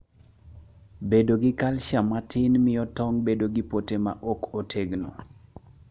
Bedo gi calcium matin miyo tong' bedo gi pote ma okotegno